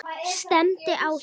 Stefndi á þau.